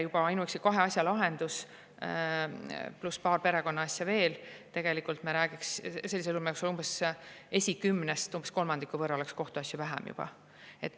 Juba ainuüksi nende kahe asja lahendus, pluss paar perekonnaasja veel, ja juba me räägiks, et sellisel juhul oleks esikümnes umbes kolmandiku võrra kohtuasju vähem.